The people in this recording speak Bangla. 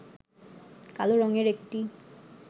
কালো রঙের একটি